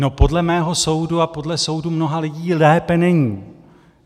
No podle mého soudu a podle soudu mnoha lidí lépe není.